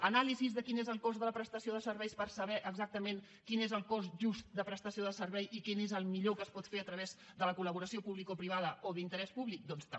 anàlisis de quin és el cost de la prestació de serveis per saber exactament quin és el cost just de prestació de servei i quin és el millor que es pot fer a través de la col·laboració publicoprivada o d’interès públic doncs també